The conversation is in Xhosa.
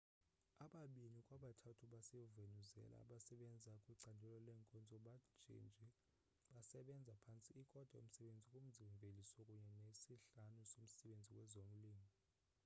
ababini kwabathathu basevenezuela abasebenza kwicandelo leenkonzo benjenje basebenza phantse ikota yomsebenzi kumzi mveliso kunye nesihlanu somsebenzi kwezolimo